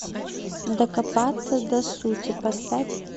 докопаться до сути поставь